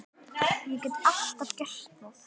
Ég get alltaf gert það.